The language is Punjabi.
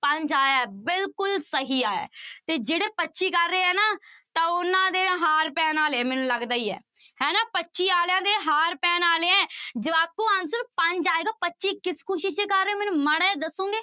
ਪੰਜ ਆਇਆ ਹੈ ਬਿਲਕੁਲ ਸਹੀ ਆਇਆ ਹੈ ਤੇ ਜਿਹੜੇ ਪੱਚੀ ਕਰ ਰਹੇ ਹੈ ਨਾ ਤਾਂ ਉਹਨਾਂ ਦੇ ਹਾਰ ਪੈਣ ਵਾਲੇ ਆ ਮੈਨੂੰ ਲੱਗਦਾ ਹੀ ਹੈ, ਹੈ ਨਾ ਪੱਚੀ ਵਾਲਿਆਂ ਦੇ ਹਾਰ ਪੈਣ ਵਾਲੇ ਹੈ ਜਵਾਕੋ answer ਪੰਜ ਆਏਗਾ ਪੱਚੀ ਕਿਸ ਖ਼ੁਸ਼ੀ ਚ ਕਰ ਰਹੇ ਹੋ ਮੈਨੂੰ ਮਾੜਾ ਜਿਹਾ ਦੱਸੋਂਗੇ।